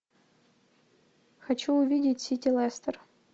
хочу увидеть сити лестер